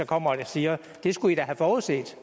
kommer og siger det skulle i da have forudset